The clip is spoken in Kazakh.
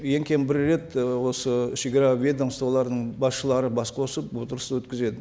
ең кемі бір рет і осы шегара ведомстволарының басшылары бас қосып отырыс өткізеді